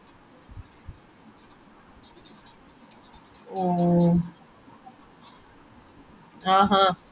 ഓ ആഹ് ആഹ്